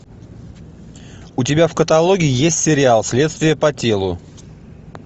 у тебя в каталоге есть сериал следствие по телу